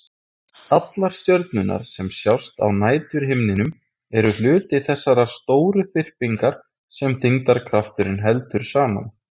Allar stjörnurnar sem sjást á næturhimninum eru hluti þessarar stóru þyrpingar sem þyngdarkrafturinn heldur saman.